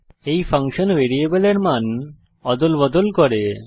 এই ফাংশন ভ্যারিয়েবলের মান অদলবদল করবে